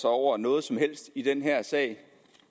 sig over noget som helst i den her sag